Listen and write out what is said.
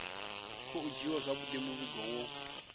khou dzhiiwa zwauri muvhigo wo